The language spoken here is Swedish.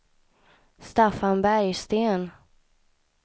Staffan Bergsten